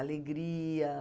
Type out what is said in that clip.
Alegria.